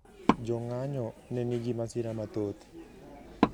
Jo ng`anyo ne nigi masira mathoth